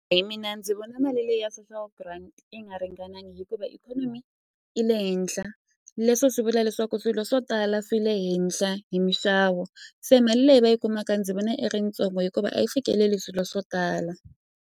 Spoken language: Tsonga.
Hi mina ndzi vona mali leyi ya social grant yi nga ringanangi hikuva ikhonomi i le henhla leswo swi vula leswaku swilo swo tala swi le henhla hi mixavo se mali leyi va yi kumaka ndzi vona i ri yitsongo hikuva a yi fikeleli swilo swo tala.